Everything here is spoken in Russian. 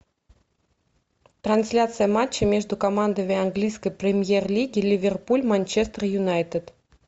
трансляция матча между командами английской премьер лиги ливерпуль манчестер юнайтед